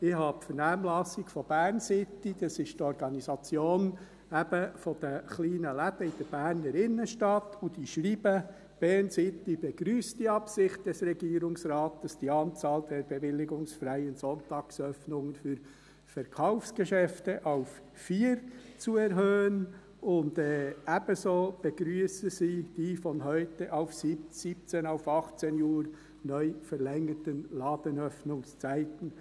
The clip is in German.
Ich habe die Vernehmlassung von BERNcity, das ist die Organisation der kleinen Läden in der Berner Innenstadt, und diese schreibt: «BERNcity begrüsst die Absicht des Regierungsrates, die Anzahl der bewilligungsfreien Sonntagsöffnungen für Verkaufsgeschäfte auf vier zu erhöhen», und ebenso begrüssen sie «die, von heute 17 auf neu 18 Uhr verlängerten Ladenöffnungszeiten.